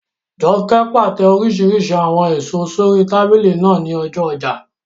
Jọkẹ́ pàtẹ oríṣiríṣi àwọn èèso sórí tábìlì náà ní ọjọ́ ọjà